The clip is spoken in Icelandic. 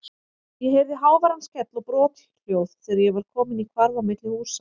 Ég heyrði háværan skell og brothljóð þegar ég var kominn í hvarf á milli húsa.